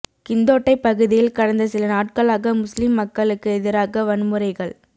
கிந்தோட்டைப் பகுதியில் கடந்த சில நாட்களாக முஸ்லிம் மக்களுக்கு எதிராக வன்முறைகள்